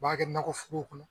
U b'a kɛ nakɔforow kɔnɔ